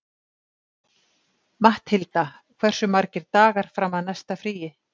Matthilda, hversu margir dagar fram að næsta fríi?